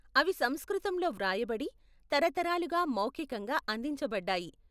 అవి సంస్కృతంలో వ్రాయబడి, తరతరాలుగా మౌఖికంగా అందించబడ్డాయి.